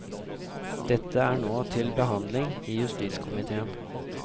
Dette er nå til behandling i justiskomitéen.